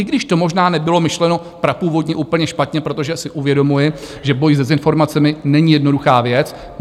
I když to možná nebylo myšleno prapůvodně úplně špatně, protože si uvědomuji, že boj s dezinformacemi není jednoduchá věc.